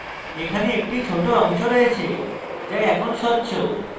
এখানে একটি ছোট অংশ রয়েছে যা এখন স্বচ্ছ